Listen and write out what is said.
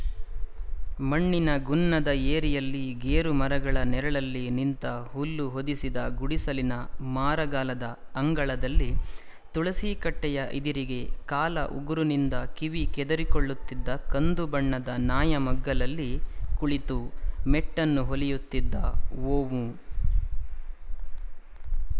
ಮಣ್ಣಿನ ಗುನ್ನದ ಏರಿಯಲ್ಲಿ ಗೇರುಮರಗಳ ನೆರಳಲ್ಲಿ ನಿಂತ ಹುಲ್ಲು ಹೊದಿಸಿದ ಗುಡಿಸಲಿನ ಮಾರಗಲದ ಅಂಗಳದಲ್ಲಿ ತುಳಸೀಕಟ್ಟೆಯ ಇದಿರಿಗೆ ಕಾಲ ಉಗುರಿನಿಂದ ಕಿವಿ ಕೆದರಿಕೊಳ್ಳುತ್ತಿದ್ದ ಕಂದುಬಣ್ಣದ ನಾಯ ಮಗ್ಗಲಲ್ಲಿ ಕುಳಿತು ಮೆಟ್ಟನ್ನು ಹೊಲಿಯುತ್ತಿದ್ದ ವೋಮೂ